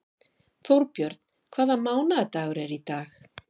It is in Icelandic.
Þórbjörn, hvaða mánaðardagur er í dag?